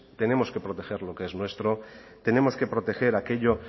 tenemos que proteger lo que es nuestro tenemos que proteger aquello